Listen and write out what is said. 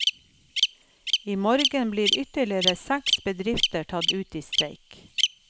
I morgen blir ytterligere seks bedrifter tatt ut i streik.